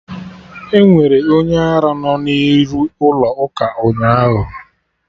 Enwere onye ara no n'iru ụlọ ụka ụnyaahụ